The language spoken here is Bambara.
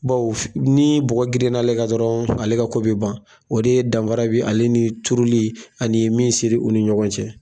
Baw ni bɔgɔ brinn'ale kan dɔrɔnw, ale ka ko bɛ ban ,o de danfara bɛ ale ni tuuruli ani min sɛri ni ɲɔgɔn cɛ.